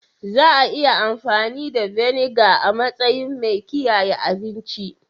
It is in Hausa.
Za a iya amfani da Vinegar a matsayin mai kiyaye abinci.